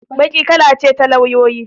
Baƙi kala ce ta lauyoyi.